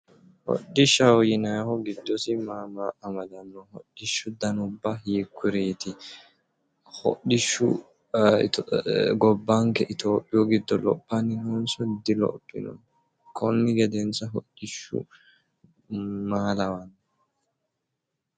Hodhishshaho yinaayihu giddosi maa maa amadanno? hidhishshu danubba hiikkuriiti? hodhishshu gobbanke itophiyu giddo lophanni noonso dilophino. konni gedensa hodhishshu maa lawanno?